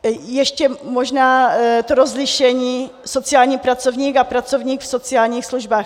Ještě možná to rozlišení "sociální pracovník" a "pracovník v sociálních službách".